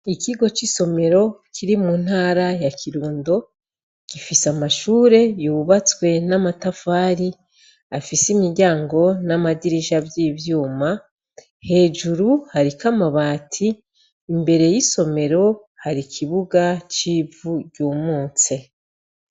Ikigo c'isomero, Kiri mu ntara ya kirundo, gifis' amashure yubatswe n amatafari, afis' imiryango n' amadirisha vyivyuma, hejuru harik amabati, imbere y' isomero har' ikibuga c ivu ryumutse.